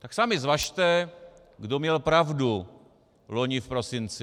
Tak sami zvažte, kdo měl pravdu loni v prosinci.